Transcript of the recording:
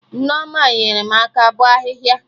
Nneoma nyere m aka bọ ahịhịa